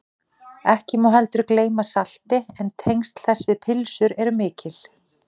ekki má heldur gleyma salti en tengsl þess við pylsur eru mikil